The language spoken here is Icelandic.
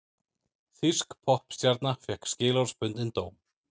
Þýsk poppstjarna fékk skilorðsbundinn dóm